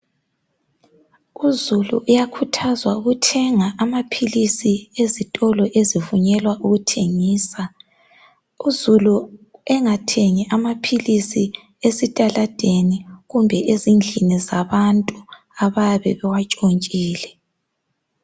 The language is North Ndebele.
Uzulu uyakhuthazwa ukuthenga amaphilisi ezitolo ezivunyelwa ukuthengisa, uzulu engathengi amaphilisi esitaladeni kumbe ezindlini zabantu abayabe bewatshontshile.